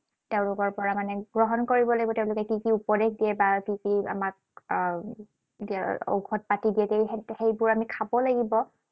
তেওঁলোকৰ পৰা মানে গ্ৰহণ কৰিব লাগিব, তেওঁলোকে কি কি উপদেশ দিয়ে বা কি কি আমাক আহ ঔষধ পাতি দিয়ে। সেইবোৰ আমি খাব লাগিব।